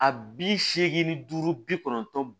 A bi seegin ni duuru bi kɔnɔntɔn